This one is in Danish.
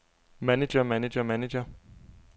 manager manager manager